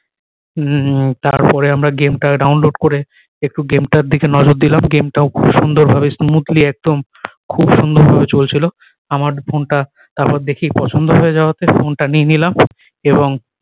উম তার পরে আমরা game টা download করে একটু game টার দিকে নজর দিলাম game টা ও খুব সুন্দর ভাবে smoothly একদম খুব সুন্দর ভাবে চলছিলো আমার ফোন টা তার পরে দেখেই পছন্দ হয়ে যাওয়াতে ফোন টা নিয়ে নিলাম এবং